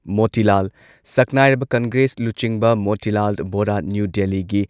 ꯃꯣꯇꯤꯂꯥꯜ ꯁꯛꯅꯥꯏꯔꯕ ꯀꯪꯒ꯭ꯔꯦꯁ ꯂꯨꯆꯤꯡꯕ ꯃꯣꯇꯤꯂꯥꯜ ꯕꯣꯔꯥ ꯅ꯭ꯌꯨ ꯗꯦꯜꯂꯤꯒꯤ